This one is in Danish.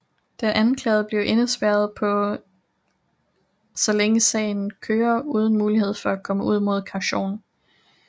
Den anklagede bliver indespærret så længe sagen køre uden mulighed for at komme ud mod kaution